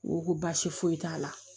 U ko baasi foyi t'a la